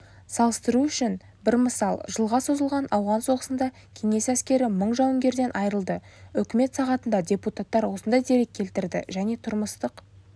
салыстыру үшін бір мысал жылға созылған ауған соғысында кеңес әскері мың жауынгерден айырылды үкімет сағатында депутаттар осындай дерек келтірді және тұрмыстық